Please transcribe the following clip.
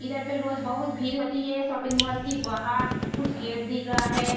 इधर पे रोज बहुत भीड़ होती हैं शॉपिंग मॉल के बाहर कुछ गेट दिख रहा हैं।